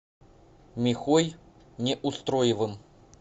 михой неустроевым